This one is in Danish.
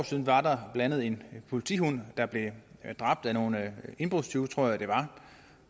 siden var der blandt andet en politihund der blev dræbt af nogle indbrudstyve tror jeg det